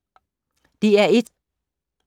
DR1